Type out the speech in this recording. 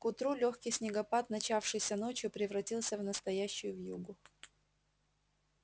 к утру лёгкий снегопад начавшийся ночью превратился в настоящую вьюгу